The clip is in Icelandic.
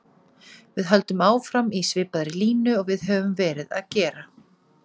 Við höldum áfram í svipaðri línu og við höfum verið að gera.